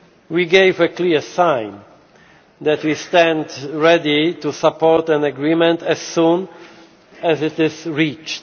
We gave a clear sign that we stand ready to support an agreement as soon as it is reached.